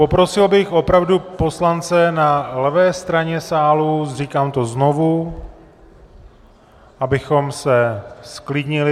Poprosil bych opravdu poslance na levé straně sálu, říkám to znovu, abychom se zklidnili.